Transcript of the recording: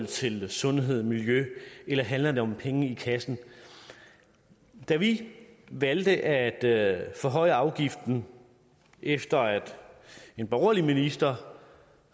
til sundhed og miljø eller handler det om penge i kassen da vi valgte at at forhøje afgiften efter at en borgerlig minister